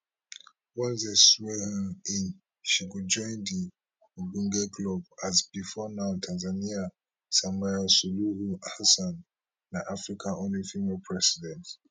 once dey swear her in she go join di ogbonge club as before now tanzania samia suluhu hassan na africa only female president